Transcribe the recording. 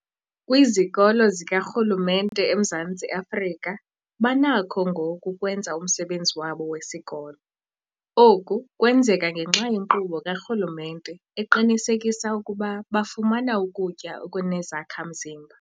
Kwizikolo zikarhulumente eMzantsi Afrika banakho ngoku ukwenza umsebenzi wabo wesikolo. Oku kwenzeka ngenxa yenkqubo karhulumente eqinisekisa ukuba bafumana ukutya okunezakha-mzimba.